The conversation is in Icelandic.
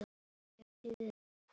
Hver ferð tekur sjö daga.